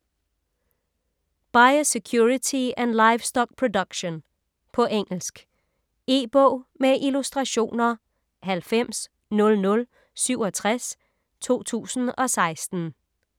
Biosecurity and livestock production På engelsk. E-bog med illustrationer 900067 2016.